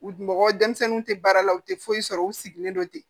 U mɔgɔ denmisɛnninw tɛ baara la u tɛ foyi sɔrɔ u sigilen don ten